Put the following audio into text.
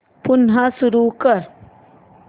पुन्हा सुरू कर